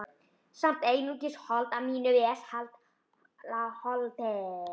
Samt einungis hold af mínu vesala holdi.